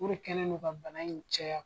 O re kɛlen do ka bana in caya.